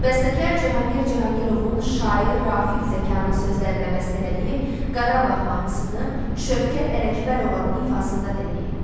Bəstəkar Cahangir Cahangirovun şair Rafiq Zəkanın sözlərinə bəstələdiyi Qarabağ mahnısını Şövkət Ələkbərovanın ifasında dinləyin.